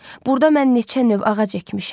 Burda mən neçə növ ağac əkmişəm.